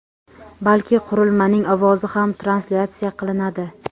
balki qurilmaning ovozi ham translyatsiya qilinadi.